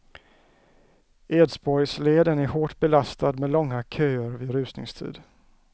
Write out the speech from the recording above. Edsborgsleden är hårt belastad med långa köer vid rusningstid.